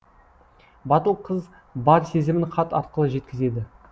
батыл қыз бар сезімін хат арқылы жеткізеді